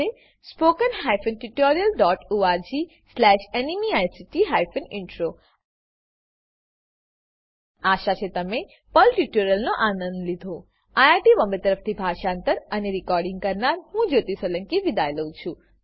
spoken hyphen tutorial dot org slash NMEICT hyphen intro આશા છે તમે પર્લ ટ્યુટોરીયલનો આનંદ લીધો આઈઆઈટી બોમ્બે તરફથી હું જ્યોતી સોલંકી વિદાય લઉં છું